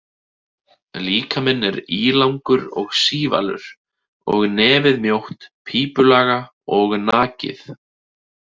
Líkaminn er ílangur og sívalur og nefið mjótt, pípulaga og nakið.